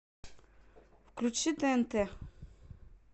включи тнт